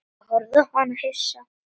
Ég horfði á hann hissa.